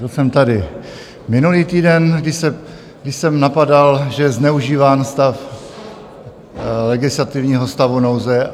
Byl jsem tady minulý týden, když jsem napadal, že je zneužíván stav legislativního stavu nouze.